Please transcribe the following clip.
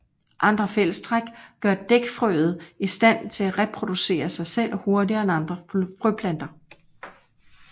Andre fællestræk gør dækfrøede i stand til at reproducere sig selv hurtigere end andre frøplanter